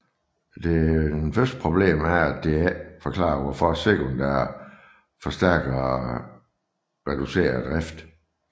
Det første problem er at det ikke forklarer hvor sekundære forstærkere reducerer drift